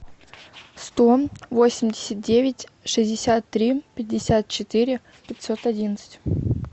сто восемьдесят девять шестьдесят три пятьдесят четыре пятьсот одиннадцать